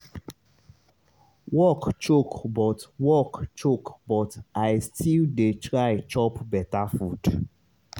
work choke but work choke but i still dey try chop beta food